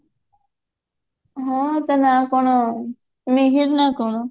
ହଁ ତା ନା କଣ ମିହିର ନା କଣ